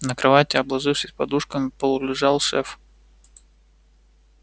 на кровати обложившись подушками полулежал шеф